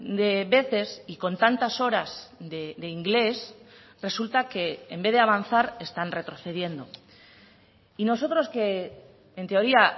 de veces y con tantas horas de inglés resulta que en vez de avanzar están retrocediendo y nosotros que en teoría